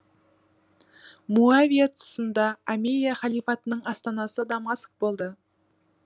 муавия тұсында омейя халифатының астанасы дамаск болды